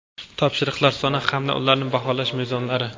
topshiriqlar soni hamda ularni baholash mezonlari.